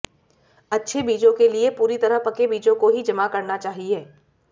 अच्छे बीजों के लिए पूरी तरह पके बीजों को ही जमा करना चाहिए